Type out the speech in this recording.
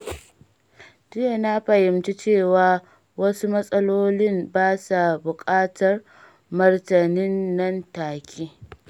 Jiya na fahimci cewa wasu matsalolin ba sa buƙatar martanin nan-take.